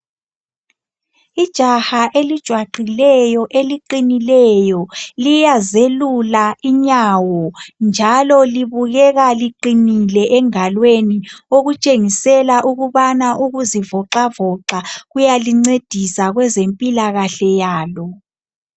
Ijaha elijwaqileyo eliqinileyo, liyazelula inyawo, njalo libukeka liqinile engalweni. Okutshengisela ukubana ukuzivoxavoxa kuyalincedisa kwezempilakahle yalo.